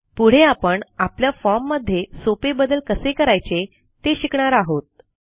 पुढे आपण आपल्या फॉर्म मध्ये सोपे बदल कसे करायचे ते शिकणार आहोत